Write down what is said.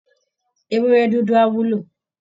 Ewúrẹ́ dúdú á wúlò